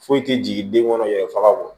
Foyi tɛ jigin den kɔnɔ yɛrɛ faga go